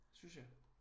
Synes jeg